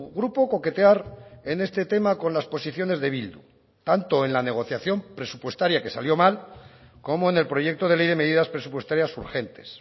grupo coquetear en este tema con las posiciones de bildu tanto en la negociación presupuestaria que salió mal como en el proyecto de ley de medidas presupuestarias urgentes